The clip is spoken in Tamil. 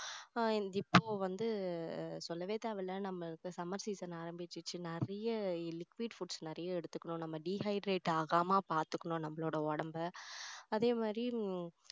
ஆஹ் இப்போ வந்து சொல்லவே தேவையில்லை நம்மளுக்கு summer season ஆரம்பிச்சிடுச்சு நிறைய liquid foods நிறைய எடுத்துக்கணும் நம்ம dehydrate ஆகாம பார்த்துக்கணும் நம்மளோட உடம்ப அதே மாதிரி உம்